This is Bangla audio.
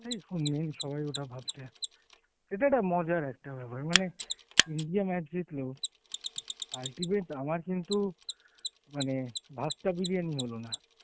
সবাই ওটা ভাবছে. এটা একটা মজার একটা ব্যাপার মানে India match জিতল, ultimate আমার কিন্তু মানে ভাগটা বিরিয়ানি হলোনা.